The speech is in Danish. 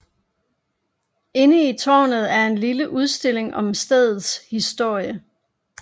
Inde i tårnet er en lille udstilling om stedets historie